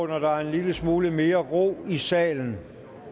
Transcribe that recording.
der er en lille smule mere ro i salen